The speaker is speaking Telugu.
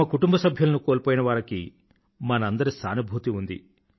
తమ కుటుంబసభ్యులను కోల్పోయిన వారికి మనందరి సానుభూతి ఉంది